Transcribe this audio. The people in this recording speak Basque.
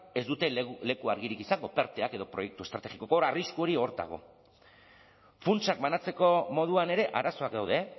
ez dute leku argirik izango perteak edo proiektu estrategikoak hor arrisku hori hor dago funtsak banatzeko moduan ere arazoak daude